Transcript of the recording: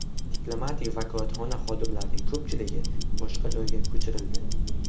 Diplomatik vakolatxona xodimlarining ko‘pchiligi boshqa joyga ko‘chirildi.